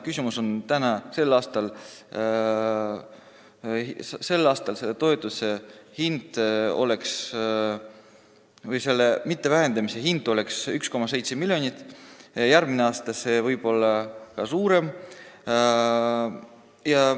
Küsimus on selles, et selle toetuse mittevähendamise hind oleks sel aastal 1,7 miljonit, järgmisel aastal võib-olla rohkem.